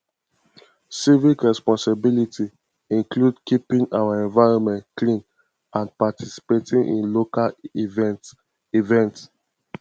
civic responsibility include keeping our environment clean and participating in local events events